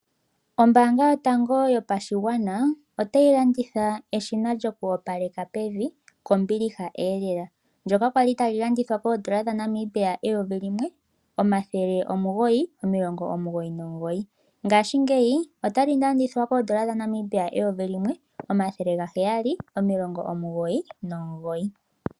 Ombaanga yotango yopashigwana otayi landitha eshina lyoku opaleka pevi kombiliha lela. Ndyoka lya li tali landithwa kooN$ 1 999, ngaashingeyi otali landithwa kooN$ 1 799.